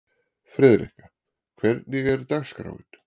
Friðrikka, hvernig er dagskráin?